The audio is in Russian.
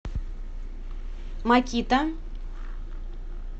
макита